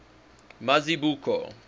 mazibuko